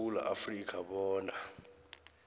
yesewula afrika bona